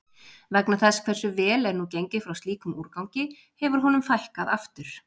Vegna þess hversu vel er nú gengið frá slíkum úrgangi hefur honum fækkað aftur.